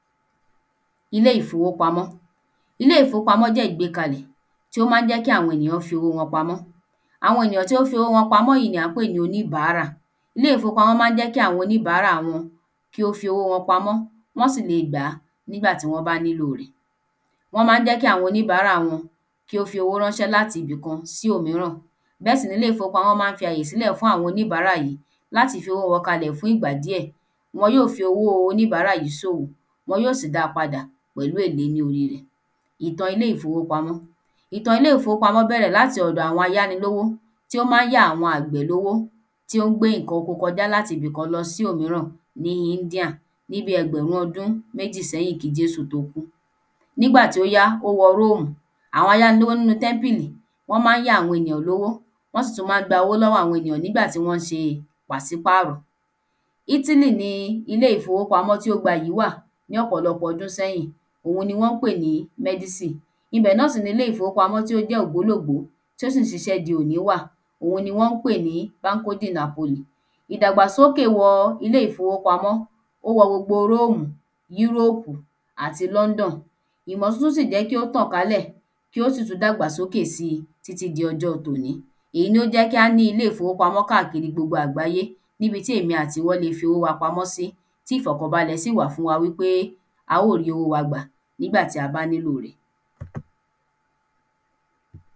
Ilé ìfowópamọ́ Ilé ìfowópamọ́ jẹ́ ìgbékalẹ̀ tí ó má ń jẹ́ kí àwọn ènìyàn fi owó wọn pamọ àwọn ènìyàn tí ó fi owó wọn pamọ yí ni à ń pè ní oníbárà ilé ìfowópamọ́ má ń jẹ́ kí oníbárà wọn kí ó fi owó wọn pamọ́ wọ́n sì lọ gbàá nígbà tí wọ́n bá nílò rẹ̀ wọ́n má ń jẹ́ kí àwọn oníbárà wọn kí ó fi owó ránṣẹ́ láti ibi kan sí omíran bẹ́ẹ̀ sì ni àwọn ilé ìfowópamọ́ má ń fi àyè sílẹ̀ fún àwọn oníbárà yìí láti fi owó won kalẹ̀ fún ìgbà díẹ̀ wọn yí ó fowóo oníbárà yìí sòwò wọn yí ó sì da padà pẹ̀lú èlé ní orí rẹ̀ ìtan ilé ìfowópamọ́ ìtan ilé ìfowópamọ́ bẹ̀rẹ̀ láti ọ̀dọ̀ àwọn ayánilówó tí ó má ń yá àwọn àgbẹ̀ lowó tí ó ń gbé ǹkan oko kojá lati ibi kan lọ sí òmíràn ni India ní bí ẹgbẹ̀run ọdún méjì sẹ́hìn kí Jésù tó kú nígbà tí ó yá ó wa Róòmù àwọn ayánilówó nínu tẹ́mpìlì wọ́n má ń yá àwọn èyàn lówó wọ́n sì tú má ń gba owó lọ́wọ́ àwon èyàn nígbà tí wọn ṣe pàsípáàrọ̀ Ítílí ni ilé ìfowópamọ́ tí ó gbayì wà ní ọ̀pọ̀ọpọ̀ ọdún sẹ́yìn òun ni ọ́ ń pè ní mẹ́dísì ibẹ̀ náà sì ni ilé ìfowópamọ́ tó jẹ́ ògbólògbó tí ó sì ń ṣiṣẹ́ di òni wà òun ni wọ́n pè ní Banko de Napoli ìdàgbàsókè wọ ilé ìfowópamọ́ ó wọ gbogbo Róòmù Yúrópù àti London imọ̀ tuntun sì jẹ́ kí ó tàn kálẹ̀ kí ó sì tú dàgbàsókè si tí tí di ọjọ́ọ tò ní ìyí ló jẹ́ kí á ní ilé ìfowópamọ́ káàkiri gbogbo àgbáyé níbi tí ẹ̀mi àti ìwọ le fí owó wa pamọ́ sí tí ìfọ̀kànbalẹ̀ sì wà fún wa wí pé a ó rí owó wa gbà nígbà tí a bá nílò rẹ̀